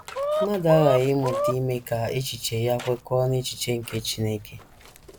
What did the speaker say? Mmadụ aghaghị ịmụta ime ka echiche ya kwekọọ n’echiche nke Chineke.